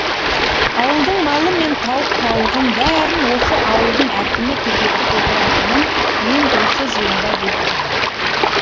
ауылдың малы мен тауық пауығын бәрін осы ауылдың әкімі күзетіп отыратынын мен осы жиында білдім